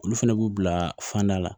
Olu fɛnɛ b'u bila fanda la